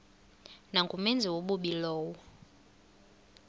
nangumenzi wobubi lowo